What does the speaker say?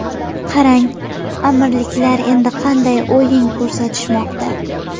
Qarang, Amirliklar endi qanday o‘yin ko‘rsatishmoqda.